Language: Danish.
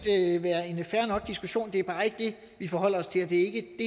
være en fair nok diskussion det er bare ikke det vi forholder os til og det